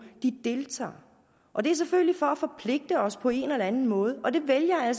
deltager og det er selvfølgelig for at forpligte os på en eller anden måde og det vælger